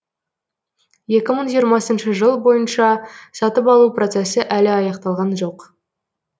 екі мың жиырмасыншы жыл бойынша сатып алу процесі әлі аяқталған жоқ